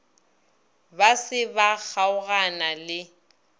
ba se ba kgaogana le